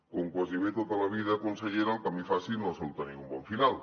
com gairebé tot a la vida consellera el camí fàcil no sol tenir un bon final